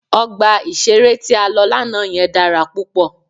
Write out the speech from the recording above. Ọgbà ìṣeré tí a lọ lánàá yẹn dára púpọ̀.